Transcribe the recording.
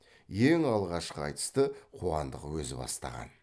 ең алғашқы айтысты қуандық өзі бастаған